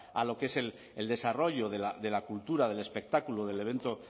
a lo que es el desarrollo de la cultura del espectáculo del evento